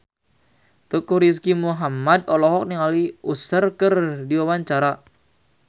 Teuku Rizky Muhammad olohok ningali Usher keur diwawancara